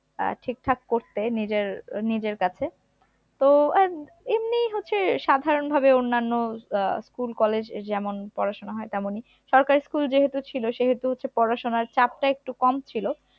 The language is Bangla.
আহ ঠিকঠাক করতে নিজের আহ নিজের কাছে, তো আর এমনিই হচ্ছে সাধারণ ভাবে অন্যানো আহ school college এই যেমন পড়াশোনা হয় তেমনই, সরকারি school যেহেতু ছিল সেহেতু হচ্ছে পড়াশুনোর চাপটা একটু কম ছিল